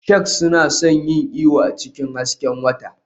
Sharks suna son yin iyo a cikin hasken wata.